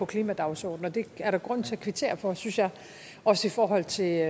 klimadagsordenen det er der grund til at kvittere for synes jeg også i forhold til